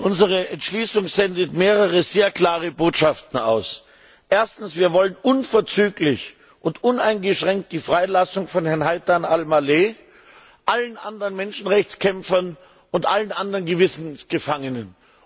Frau Präsidentin! Unsere Entschließung sendet mehrere sehr klare Botschaften aus. Erstens Wir wollen die unverzügliche und uneingeschränkte Freilassung von Herrn Haythan Al Maleh, allen anderen Menschenrechtskämpfern und allen anderen Gewissensgefangenen.